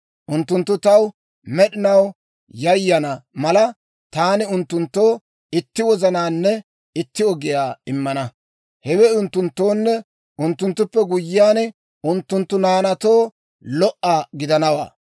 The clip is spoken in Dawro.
Unttunttu taw med'inaw yayana mala, taani unttunttoo itti wozanaanne itti ogiyaa immana; hewe unttunttoonne unttunttuppe guyyiyaan, unttunttu naanaatoo lo"a gidanawaa.